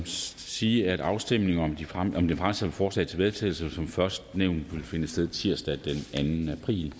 sige at afstemningen om det fremsatte forslag til vedtagelse som først nævnt vil finde sted tirsdag den anden april